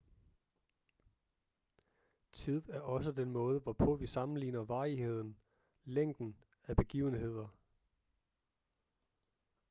tid er også den måde hvorpå vi sammenligner varigheden længden af begivenheder